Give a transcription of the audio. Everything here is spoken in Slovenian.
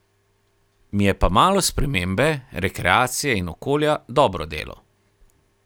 Mi je pa malo spremembe, rekreacije in okolja dobro delo.